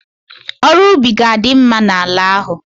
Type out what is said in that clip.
Ọrụ ubi ga-adima'ala ahụ.